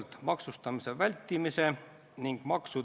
Siim Kallas, teine aseesimees, on kahjuks haiglas.